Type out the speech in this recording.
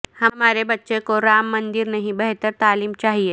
ہمارے بچے کو رام مندر نہیں بہتر تعلیم چاہئے